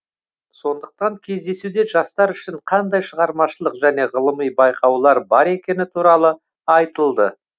сондықтан кездесуде жастар үшін қандай шығармашылық және ғылыми байқаулар бар екені туралы айтылды